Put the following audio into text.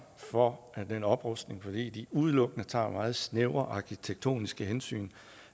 for den oprustning fordi de udelukkende tager meget snævre arkitektoniske hensyn